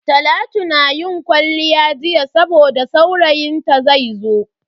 Talatu ta yi kwalliya jiya saboda saurayin ta zaizo.